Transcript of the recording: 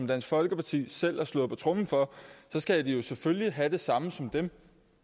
dansk folkeparti selv har slået på tromme for så skal de jo selvfølgelig have det samme som dem